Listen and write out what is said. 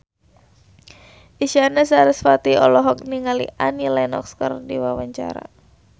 Isyana Sarasvati olohok ningali Annie Lenox keur diwawancara